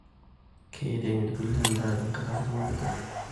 Keirem irkulie endaa tenkaraki ilmareta lenye